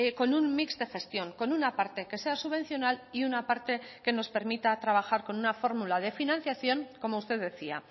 con un mix de gestión con una parte que sea subvencional y una parte que nos permita trabajar con una fórmula de financiación como usted decía